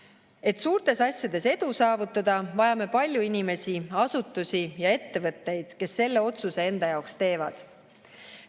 Et suurtes asjades edu saavutada, vajame palju inimesi, asutusi ja ettevõtteid, kes selle otsuse enda jaoks teevad.